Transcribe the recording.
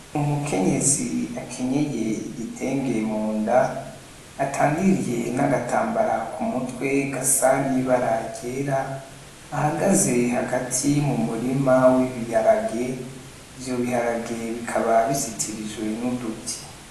Umukenyezi akenyeye igitenge munda atandiye n'agatambara ku mutwe gasa n'ibara ryera ahagaze hagati mu murima w'ibiharage ivyo biharage bikaba bizitirijwe n'uduti.